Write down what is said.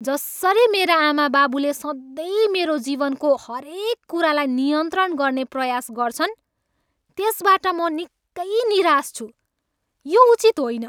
जसरी मेरा आमाबाबुले सधैँ मेरो जीवनको हरेक कुरालाई नियन्त्रण गर्ने प्रयास गर्छन्, त्यसबाट म निकै निराश छु। यो उचित होइन।